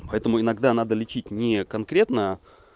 поэтому иногда надо лечить не конкретно